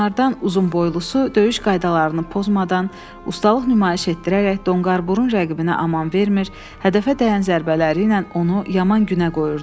Onlardan uzunboylusu döyüş qaydalarını pozmadan, ustalıq nümayiş etdirərək donqarburun rəqibinə aman vermir, hədəfə dəyən zərbələri ilə onu yaman günə qoyurdu.